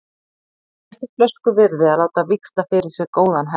Það er ekki flösku virði að láta víxla fyrir sér góðan hest.